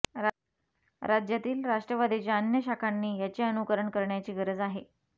राज्यातील राष्ट्रवादीच्या अन्य शाखांनी याचे अनुकरण करण्याची गरज आहे